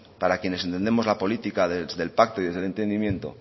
para quienes entendemos la política desde el pacto y desde el entendimiento